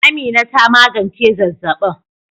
Amina ta magance zazzabin